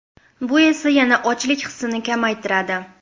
Bu esa yana ochlik hissini kamaytiradi.